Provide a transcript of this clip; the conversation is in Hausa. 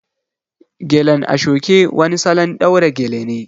Gelen ashoke wani salon ɗaura gele ne